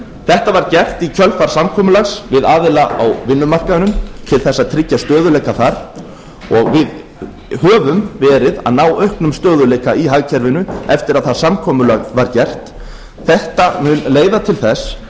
þetta var gert í kjölfar samkomulags við aðila á vinnumarkaðnum til þess að tryggja stöðugleika þar og við höfum verið að ná auknum stöðugleika í hagkerfinu eftir að það samkomulag var gert þetta mun leiða til þess